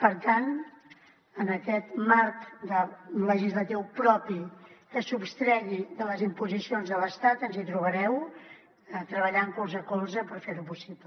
per tant en aquest marc legislatiu propi que es sostregui de les imposicions de l’estat ens hi trobareu treballant colze a colze per fer ho possible